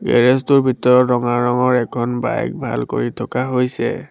Garage টোৰ ভিতৰত ৰঙা ৰঙৰ এখন বাইক ভাল কৰি থকা হৈছে।